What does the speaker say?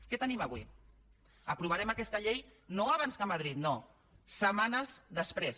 què tenim avui aprovarem aquesta llei no abans que madrid no setmanes després